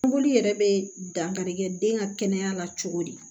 Boli yɛrɛ bɛ dankarikɛ den ka kɛnɛya la cogo di